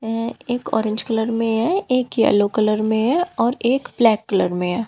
ये एक orange colour में है एक येलो कलर में है और एक ब्लैक कलर में है।